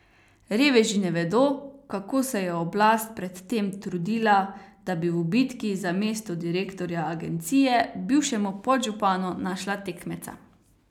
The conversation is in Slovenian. Reveži ne vedo, kako se je oblast pred tem trudila, da bi v bitki za mesto direktorja agencije bivšemu podžupanu našla tekmeca.